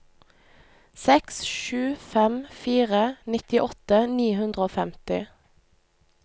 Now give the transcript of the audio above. seks sju fem fire nittiåtte ni hundre og femti